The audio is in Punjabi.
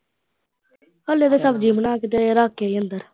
ਹਾਲੇ ਤਾਂ ਸਬਜੀ ਬਣਾ ਕੇ ਤੇ ਰੱਖ ਕੇ ਆਈ ਆ ਅੰਦਰ।